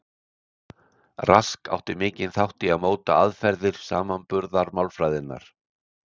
Rask átti mikinn þátt í að móta aðferðir samanburðarmálfræðinnar.